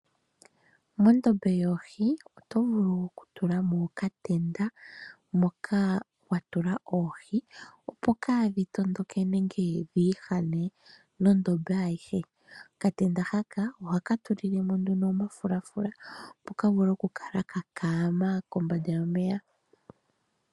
Mondombe yoohi oto vulu okutula mo okatenda moka wa tula oohi opo kaadhi tondoke nenge dhiihane nondombe ayihe. Okatenda haka oho ka tulile mo nduno omagulafula opo ka vule oku kala ka kaama kombanda yomeya.